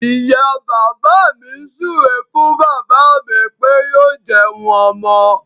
Ìyá bàbá mi súré fún bàbá mí pé yóò jẹun ọmọ.